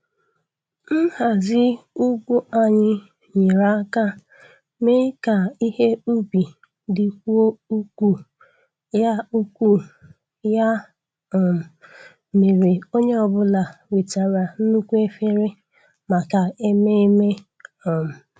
Nhazi ugwu anyị nyere aka mee ka ihe ubi dịkwuo ukwuu, ya ukwuu, ya um mere onye ọ bụla wetara nnukwu efere maka ememme. um